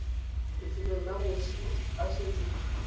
lefelong le moswi a swetseng